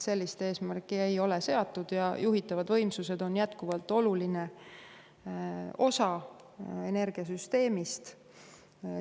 Sellist eesmärki ei ole seatud ja juhitavad võimsused on jätkuvalt oluline osa energiasüsteemist.